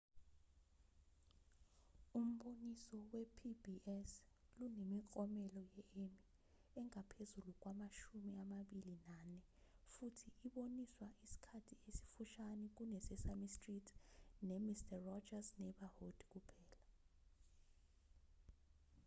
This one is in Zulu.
umboniso we-pbs lunemiklomelo ye-emmy engaphezu kwamashumi amabili nane futhi iboniswa isikhathi esifushane kune-sesame street nemister rogers's neighborhood kuphela